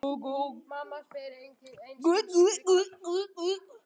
Mamma spyr einskis frekar.